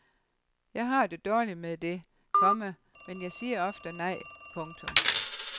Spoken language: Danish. Jeg har det dårligt med det, komma men jeg siger ofte nej. punktum